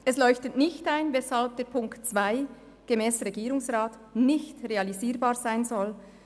Es leuchtet nicht ein, weshalb Ziffer 2 gemäss Regierungsrat nicht realisierbar sein soll.